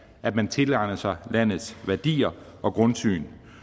at man tilegner sig landets værdier og grundsyn